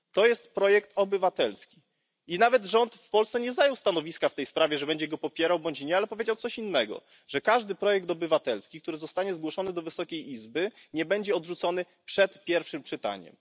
To jest projekt obywatelski i rząd w Polsce nawet nie zajął stanowiska w tej sprawie, że będzie go popierał bądź nie, ale powiedział coś innego że żaden projekt obywatelski, który zostanie zgłoszony do Wysokiej Izby, nie zostanie odrzucony przed pierwszym czytaniem.